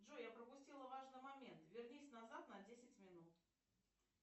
джой я пропустила важный момент вернись назад на десять минут